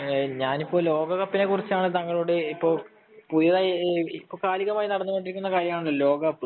ഞാനിപ്പോ ലോകകപ്പിനെ കുറിച്ചാണ് താങ്കളോട് ഏറ്റവും പുതിയതായി ഇപ്പൊ കാലികമായി നടന്നുകൊണ്ടിരിക്കുന്നതാണല്ലോ ലോക കപ്പ്